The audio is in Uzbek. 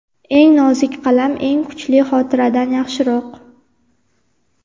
Eng nozik qalam eng kuchli xotiradan yaxshiroq.